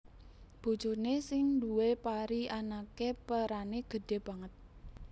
Bojoné sing duwé pari anaké perané gedhé banget